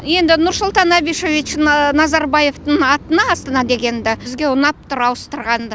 енді нұрсұлтан абишевич назарбаевтың атына астана дегенді бізге ұнап тұр ауыстырғанды